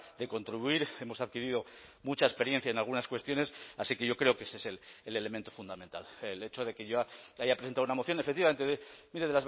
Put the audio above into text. de contribuir hemos adquirido mucha experiencia en algunas cuestiones así que yo creo que ese es el elemento fundamental el hecho de que yo haya presentado una moción efectivamente mire